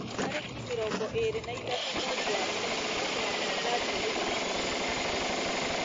tarĩki mĩrongo ĩĩrĩ na ithatũ mweri wa kĩhu no mũhaka ngathiĩ gũcemania na na tata witũ